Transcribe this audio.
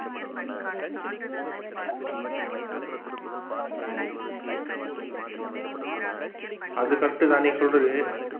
அது correct தான் நீ சொல்றது.